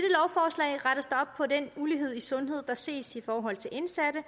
ulighed i sundhed der ses i forhold til indsatte